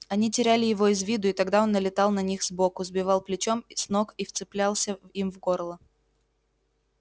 они теряли его из виду и тогда он налетал на них сбоку сбивал плечом с ног и вцеплялся им в горло